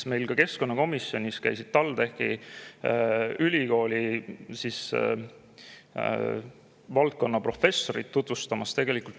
Meil keskkonnakomisjonis käisid TalTechi ülikooli valdkonnaprofessorid uuringuid tutvustamas.